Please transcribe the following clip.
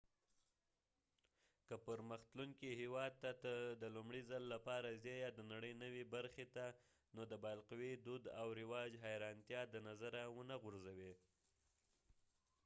که پرمخ تلونکي هیواد ته د لومړي ځل لپاره ځې یا د نړئ نوې برخې ته نو د بالقوې دود او رواج حیرانتیا د نظره ونه غورځوې